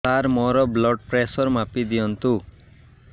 ସାର ମୋର blood pressure ମାପି ଦିଅନ୍ତୁ